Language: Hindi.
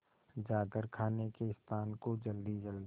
जाकर खाने के स्थान को जल्दीजल्दी